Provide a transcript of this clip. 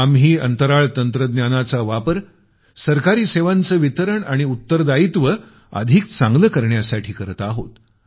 आम्ही अंतराळ तंत्रज्ञानाचा वापर सरकारी सेवांचं वितरण आणि उत्तरदायित्व अधिक चांगलं करण्यासाठी करत आहोत